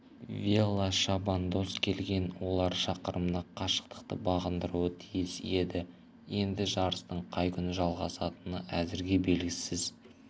велошабандоз келген олар шақырымдық қашықтықты бағындыруы тиіс еді енді жарыстың қай күні жалғасатыны әзірге белгісіз